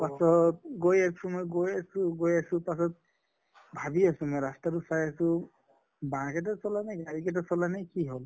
পাছত গৈ আছো মই গৈ আছো পাছত ভাবি আছো মই ৰাস্তা টো চাই আছো bike এটা চলা নাই গাড়ী এটা চলা নাই কি হʼল?